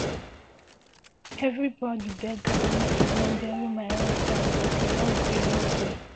evribodi beg am make e no bury my husband but e no gree no gree